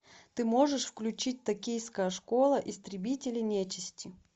ты можешь включить токийская школа истребители нечисти